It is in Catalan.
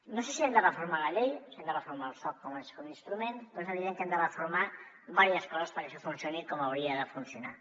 no sé si hem de reformar la llei si hem de reformar el soc com a instrument però és evident que hem de reformar diverses coses perquè això funcioni com hauria de funcionar